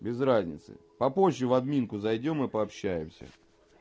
без разницы попозже в админку зайдём и пообщаемся